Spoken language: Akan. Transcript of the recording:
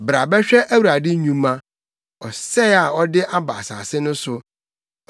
Bra bɛhwɛ Awurade nnwuma, ɔsɛe a ɔde aba asase no so.